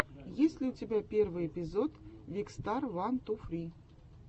есть ли у тебя первый эпизод викстар ван ту фри